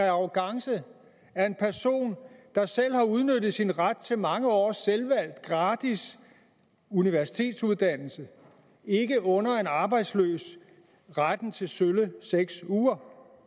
af arrogance at en person der selv har udnyttet sin ret til mange års selvvalgt gratis universitetsuddannelse ikke under en arbejdsløs retten til sølle seks uger